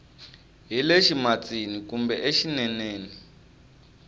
hi le ximatsini kumbe exineneni